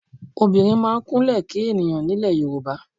Obìnrin máa ń Kúnlẹ́ kí ènìyàn ní ilè Yorùbá.